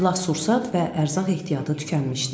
Silah-sursat və ərzaq ehtiyatı tükənmişdi.